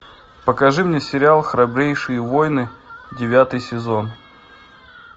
покажи мне сериал храбрейшие воины девятый сезон